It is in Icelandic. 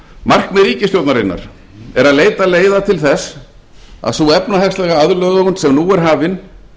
markmið ríkisstjórnarinnar er að leita leiða til þess að sú efnahagslega aðlögun sem nú er hafin